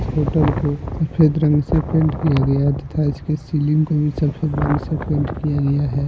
Hotel को सफेद रंग से पेंट किया गया तथा इसकी सीलिंग को भी सफेद रंग से पेंट किया गया है।